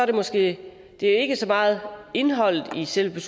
det måske ikke så meget indholdet i selve